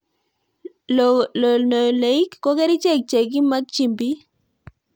Lonoleic ko kerichek che kimakchini piik